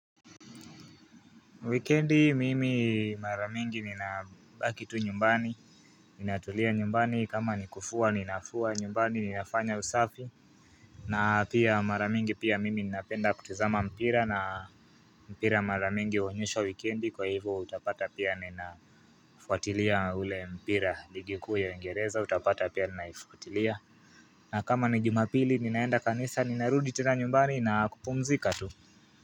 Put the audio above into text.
Wikendi mimi mara mingi ninabaki tu nyumbani, ninatulia nyumbani kama nikufua ninafua nyumbani ninafanya usafi na pia mara mingi pia mimi ninapenda kutazama mpira na mpira mara mingi huonyeshwa wikendi kwa hivyo utapata pia ninafuatilia ule mpira, ligi kuu ya uingereza utapata pia ninaifuatilia na kama ni jumapili ninaenda kanisa ninarudi tena nyumbani na kupumzika tu.